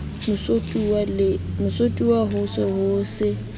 motsotuwa ho se ho se